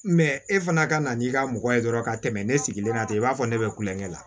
e fana ka na n'i ka mɔgɔ ye dɔrɔn ka tɛmɛ ne sigilen tɛ i b'a fɔ ne bɛ kulonkɛ la